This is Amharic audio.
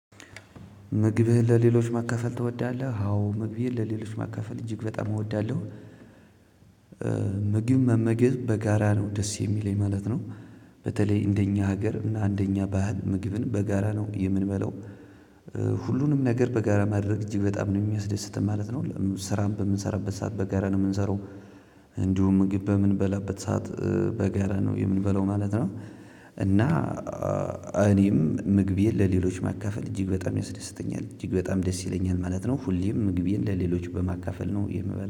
ምግብህን ለሌሎች ማካፈል ትወዳለህ አዎ ምግቤን ለሌሎች ማካፈል እጅግ በጣም እወዳለሁ። መመገብ በጋራ ነው ደስ የሚለኝ ማለት ነው። በተለይ እንደኛ ሀገር እና እንደኛ ባህል ምግብን በጋራ ነው የምንበለው። ሁሉንም ነገር በጋራ ማድረግ እጅግ በጣም ነው የሚያስደስተን ማለት ነው። ስራም በምንሰራበት ሰዓት በጋራ ነው ምንሰራው። እንዲሁም ምግብ በምንበላበት ሰዓት በጋራ ነው የምንበላው ማለት ነው። እና እኔም ምግቤን ለሌሎች ማካፈል እጅግ በጣም ያስደስተኛል እጅግ በጣም ደስ ይለኛል ማለት ነው። ሁሌም ምግቤን ለሌሎች በማካፈል ነው የምበላው